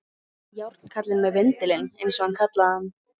Járnkallinn með vindilinn, eins og hann kallaði hann.